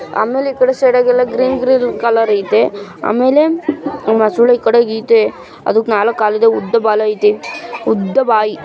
ಆಮೇಲೆ ಈಕಡೆ ಸೈಡದಾಗ ಎಲ್ಲ ಗ್ರೀನ್ ಗ್ರೀನ್ ಕಲರ್ ಇದೆ ಆಮೇಲೆ ಮೊಸಳೆ ಈ ಕಡೆಗೆ ಐತೆ ಅದಕ್ಕೆ ನಾಲ್ಕು ಕಾಲು ಉದ್ದ ಬಾಲಾ ಐತೆ. ಉದ್ದ ಬಾಯಿ --